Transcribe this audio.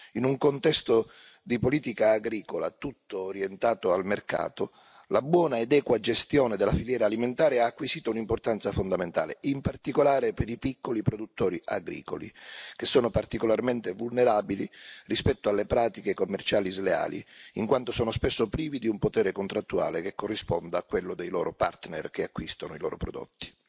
In un contesto di politica agricola tutto orientato al mercato, la buona ed equa gestione della filiera alimentare ha acquisito un'importanza fondamentale, in particolare per i piccoli produttori agricoli, che sono particolarmente vulnerabili rispetto alle pratiche commerciali sleali, in quanto sono spesso privi di un potere contrattuale che corrisponda a quello dei loro partner che acquistano i loro prodotti.